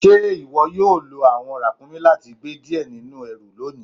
Ṣe iwo yóò lọ awọn rakúmí láti gbẹ́ díẹ̀ nínu èrú lónì?